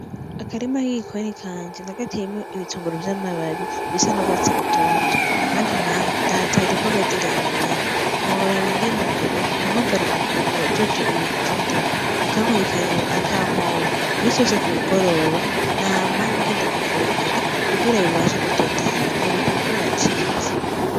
Akarima k'igikoni kanje, nagateyemwo ibitunguru vy'amababi bisa n'urwatsi rutoto, ahandi naho ndahatera imboga z'irengarenga ntiworaba ingene ubu mpamagara uwujejwe ibintu vy'indimu aka nkurikiranira akampompa, imisi yose kumugoroba nama ngenda kuvomera kugira bibashe gutotahara na burya imvura yacitse.